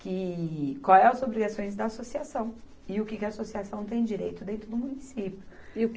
que, qual é as obrigações da associação e o que que a associação tem direito dentro do município. E o que